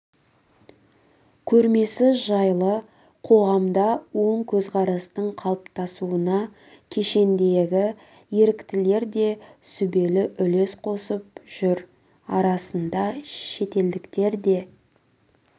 көрмесі жайлы қоғамда оң көзқарастың қалыптасуына кешендегі еріктілер де сүбелі үлес қосып жүр араларында шетелдіктер де